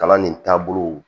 Kalan nin taabolow